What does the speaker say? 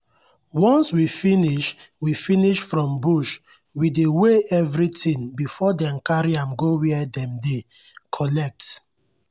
once we finish we finish from bush we dey weigh everything before dem carry am go where dem dey collect.